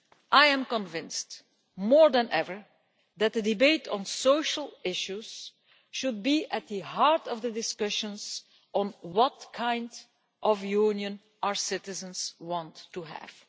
I am convinced more than ever that the debate on social issues should be at the heart of the discussions on what kind of Union our citizens want to have.